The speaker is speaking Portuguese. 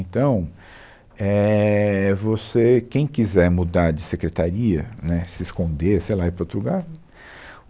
Então, éh, você, quem quiser mudar de secretaria, né, se esconder, sei lá, ir para outro lugar.